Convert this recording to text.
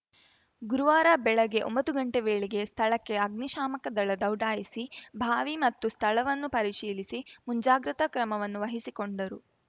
ಗುರುವಾರ ಬೆಳಗ್ಗೆ ಒಂಬತ್ತು ಗಂಟೆ ವೇಳೆಗೆ ಸ್ಥಳಕ್ಕೆ ಅಗ್ನಿಶಾಮಕ ದಳ ದೌಡಾಯಿಸಿ ಭಾವಿ ಮತ್ತು ಸ್ಥಳವನ್ನು ಪರಿಶೀಲಿಸಿ ಮುಂಜಾಗ್ರತಾ ಕ್ರಮವನ್ನು ವಹಿಸಿಕೊಂಡರು